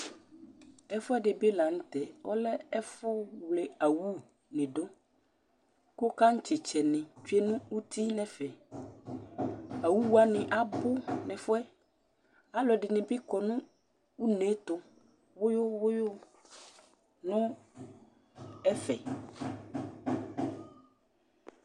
Ɛfʋɛdɩ bɩ la nʋ tɛ, ɔlɛ ɛfʋwle awunɩ dʋ kʋ kaŋtsɩtsɛnɩ tsue nʋ uti nʋ ɛfɛ Awu wanɩ abʋ nʋ ɛfʋ yɛ Alʋɛdɩnɩ bɩ kɔ nʋ une yɛ tʋ wʋyʋ wʋyʋ nʋ ɛfɛ